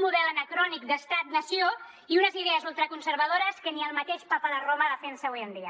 model anacrònic d’estat nació i unes idees ultraconservadores que ni el mateix papa de roma defensa avui en dia